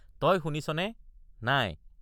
তই শুনিছনে—নাই?